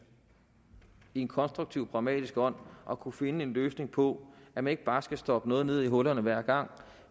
i en konstruktiv og pragmatisk ånd at kunne finde en løsning på det man ikke bare skal stoppe noget ned i hullerne hver gang